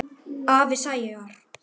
Afi Sævar.